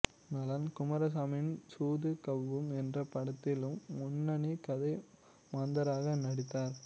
நளன் குமரசாமியின் சூது கவ்வும் என்ற படத்திலும் முன்னணி கதை மாந்தராக நடித்தார்